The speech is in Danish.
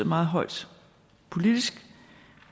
meget højt politisk